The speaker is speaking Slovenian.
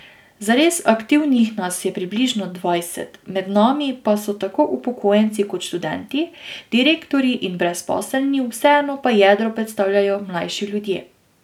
Zares aktivnih nas je približno dvajset, med nami pa so tako upokojenci kot študenti, direktorji in brezposelni, vseeno pa jedro predstavljajo mlajši ljudje.